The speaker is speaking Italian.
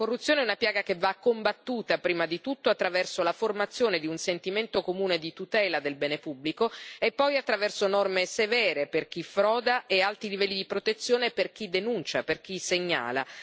La corruzione è una piaga che va combattuta, prima di tutto attraverso la formazione di un sentimento comune di tutela del bene pubblico e poi attraverso norme severe per chi froda e alti livelli di protezione per chi denuncia, per chi segnala.